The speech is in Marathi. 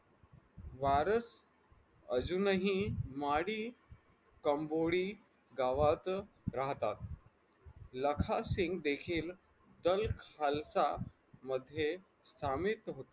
वारस अजूनही माडी कंबोडी गावात राहतात लाखसिंग देखील खालसा मध्ये सामील होते.